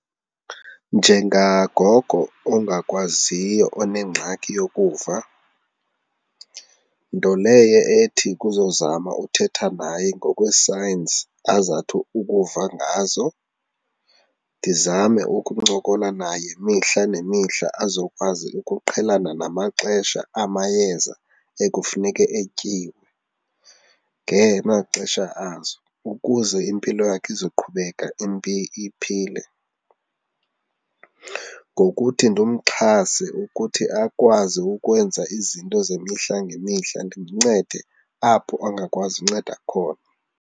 Njengangoko ongakwaziyo onengxaki yokuva, nto leyo ethi kuzo zama uthetha naye ngokwe-signs azawuthi ukuva ngazo. Ndizame ukuncokola naye mihla nemihla azokwazi ukuqhelana namaxesha amayeza ekufuneke etyiwe ngemaxesha azo, ukuze impilo yakhe izawuqhubeka iphile. Ngokuthi ndimxhase ukuthi akwazi ukwenza izinto zemihla ngemihla ndimncede apho angakwazi unceda khona.